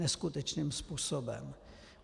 Neskutečným způsobem.